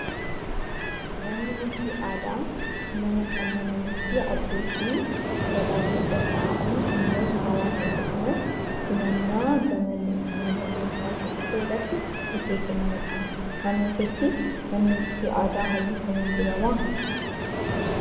Manni murtii aadaa mana kan mana murtii abbootiin gadaa keessa taa'anii dhimmoota hawaasaa akkasumas himannaa gama nama dhuunfaatiin dhufe irratti murtee kan kennanidha. Naannoo keetti manni murtii aadaa halluu akkamii dibamaa?